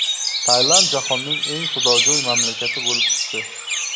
Tailand jahonning eng xudojo‘y mamlakati bo‘lib chiqdi.